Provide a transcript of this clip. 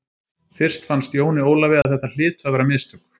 Fyrst fannst Jóni Ólafi að þetta hlytu að vera mistök.